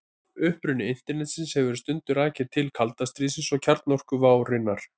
Uppruni Internetsins hefur stundum verið rakinn til kalda stríðsins og kjarnorkuvárinnar.